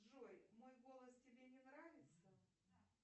джой мой голос тебе не нравится